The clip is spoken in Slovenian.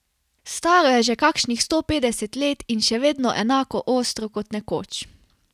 Staro je že kakšnih sto petdeset let in še vedno enako ostro kot nekoč.